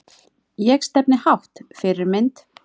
Ég stefni hátt Fyrirmynd?